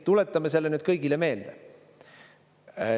Tuletame selle kõigile meelde.